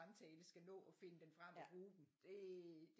Samtale skal nå at finde dem frem og bruge dem det